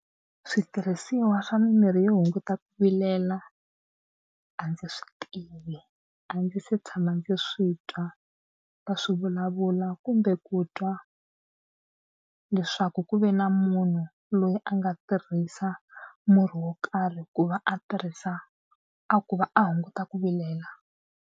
Switirhisiwa swa mimirhi yo hunguta ku vilela a ndzi swi tivi a ndzi se tshama ndzi swi twa va swi vulavula kumbe ku twa leswaku ku ve na munhu loyi a nga tirhisa murhi wo karhi ku va a tirhisa a ku va a hunguta ku vilela.